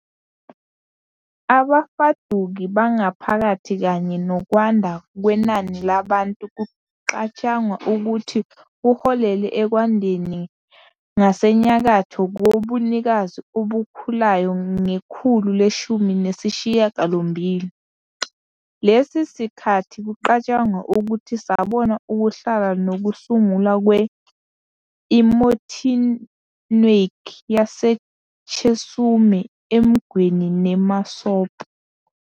Abafuduki bangaphakathi kanye nokwanda kwenani labantu kucatshangwa ukuthi kuholele ekwandeni ngasenyakatho kobunikazi obukhulayo ngekhulu leshumi nesishiyagalombili. Lesi sikhathi kucatshangwa ukuthi sabona ukuhlala nokusungulwa kwe- "emotinwek" yaseChesume, Emgwen neMasop.